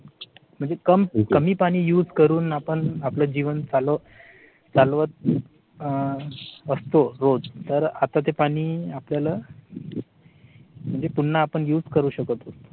म्हणजे कम कमी पाणी use करून आपण आपले जीवन चालवू. चालवत अह असतो रोज तर आता ते पाणी आपल्याला म्हणजे पुन्हा आपण use करू शकत.